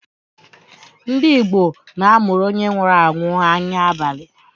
Ndị igbo na-amụrụ onye nwụrụ anwụ anya abalị.